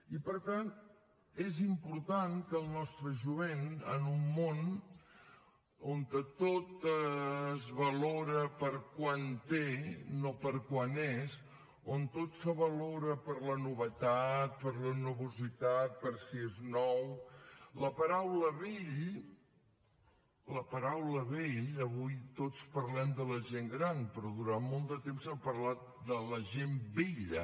i per tant és important que el nostre jovent que en un món on tot es valora per quant té no per quant és on tot se valora per la novetat per la novositat per si és nou la paraula vell la paraula vell avui tots parlem de la gent gran però durant molt de temps s’ha parlat de la gent vella